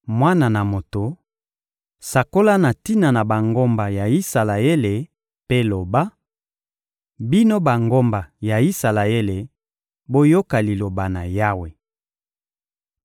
«Mwana na moto, sakola na tina na bangomba ya Isalaele mpe loba: ‹Bino bangomba ya Isalaele, boyoka Liloba na Yawe!